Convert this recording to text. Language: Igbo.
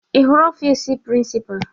Ị hụrụ ọfiisi prịnsịpa?